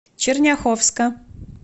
черняховска